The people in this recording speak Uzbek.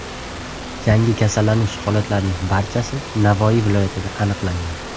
Yangi kasallanish holatlarining barchasi Navoiy viloyatida aniqlangan.